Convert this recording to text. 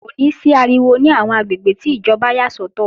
Kò ní sí ariwo ní àwọn àgbègbè tí ìjọba yà sọ́tọ̀